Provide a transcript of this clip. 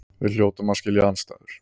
Við hljótum að skilja andstæður.